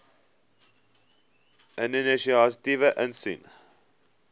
inisiatiewe insien